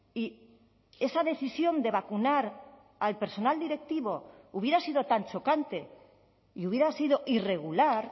y esa decisión de vacunar al personal directivo hubiera sido tan chocante y hubiera sido irregular